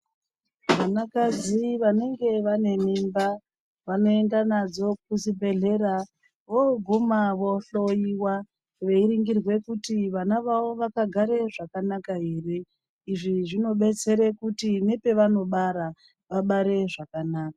Vanakadzi vanenge vanemimba vanoenda nadzo kuzvibhehlera voguma vohloiwa veindoningirwa kuti vana vavo vakagare zvakanaka here izvi zvinodetsera kuti nepanozobara vabare zvakanaka.